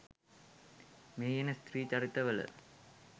මෙහි එන ස්ත්‍රී චරිත වල